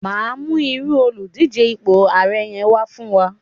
ma mu iru Oludije ipo ààrẹ yẹn wà fún wa